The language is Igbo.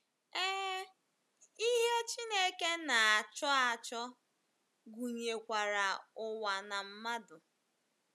Ee, ihe Chineke na - achọ achọ gụnyekwara ụwa na mmadụ.